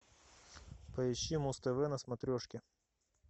поищи муз тв на смотрешке